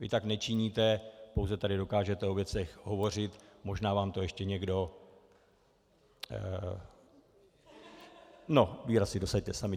Vy tak nečiníte, pouze tady dokážete o věcech hovořit, možná vám to ještě někdo... no, výraz si dosaďte sami.